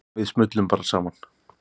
Við smullum bara saman.